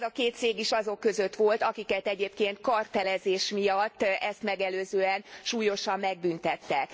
Ez a két cég is azok között volt, akiket egyébként kartelezés miatt ezt megelőzően súlyosan megbüntettek.